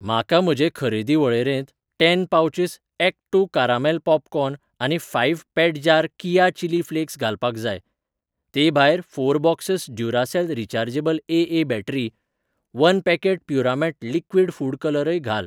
म्हाका म्हजे खरेदी वळेरेंत ten pouches act two caramel popcorn आनी फाऴ्ह पेट जार किया चिली फ्लेक्स घालपाक जाय. ते भायरफोर boxes Duracell rechargeable AA battery, one packet प्युरामेट लिक्विड फूड कलरय घाल.